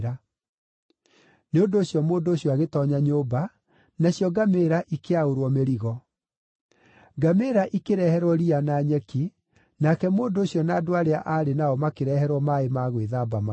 Nĩ ũndũ ũcio mũndũ ũcio agĩtoonya nyũmba, nacio ngamĩĩra ikĩaũrwo mĩrigo. Ngamĩĩra ikĩreherwo riya na nyeki, nake mũndũ ũcio na andũ arĩa aarĩ nao makĩreherwo maaĩ ma gwĩthamba magũrũ.